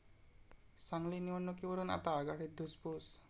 सांगली निवडणुकीवरून आता आघाडीत धुसफूस